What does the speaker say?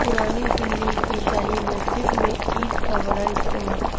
پرانی دلی کی شاہی مسجد میں عید کا بڑا اجتماع